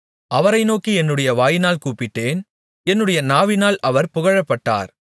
அவரை நோக்கி என்னுடைய வாயினால் கூப்பிட்டேன் என்னுடைய நாவினால் அவர் புகழப்பட்டார்